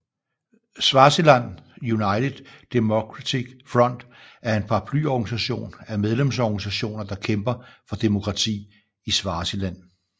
Swaziland United Democratic Front er en paraplyorganisation af medlemsorganisationer der kæmper for demokrati i Swaziland